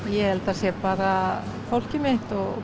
ég held að það sé bara fólkið mitt og